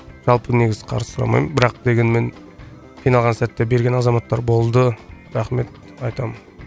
жалпы негізі қарыз сұрамаймын бірақ дегенмен қиналған сәтте берген азаматтар болды рахмет айтамын